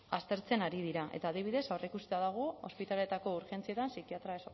aztertzen ari dira eta adibidez aurreikusita dago ospitaleetako urgentzietan psikiatria